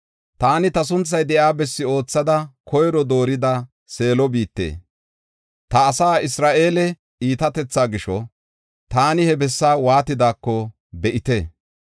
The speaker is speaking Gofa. “Taani ta sunthay de7iya bessi oothada koyro doorida, Seelo biite. Ta asaa Isra7eele iitatethaa gisho, taani he bessaa waatidaako be7ite.